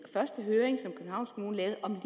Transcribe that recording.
første høring som københavns kommune lavede om